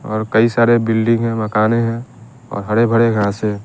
और कई सारे बिल्डिंग है मकाने है और हड़ेभड़े घास है।